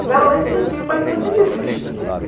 tiveram lei de incentivo para a empresa que não existe.